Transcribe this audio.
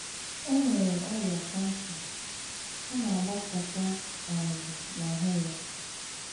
O nwere ọrìà kansà, ọ na-àgbàsàkà um n'ahụ́ ya